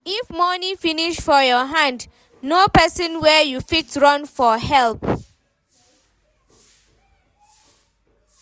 If money finish for your hand know person wey you fit run to for help